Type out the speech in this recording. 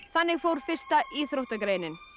þannig fór fyrsta íþróttagreinin